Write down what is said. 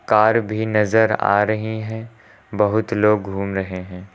Car भी नजर आ रहे हैं बहुत लोग घूम रहे हैं।